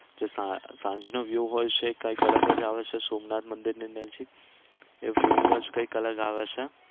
જે સાં સાંજ નો view હોય છે એ કઈક અલગ જ આવે છે સોમનાથ મંદિર ની નજીક એ view જ કઈક અલગ આવે છે.